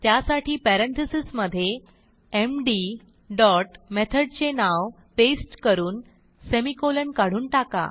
त्यासाठी पॅरेंथीसेस मधे MD dot मेथडचे नाव पेस्ट करून semi कॉलन काढून टाका